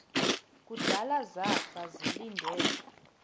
kudala zafa ndilinde